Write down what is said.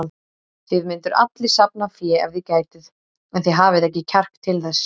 Þið mynduð allir safna fé ef þið gætuð, en þið hafið ekki kjark til þess.